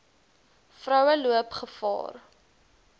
vroue loop gevaar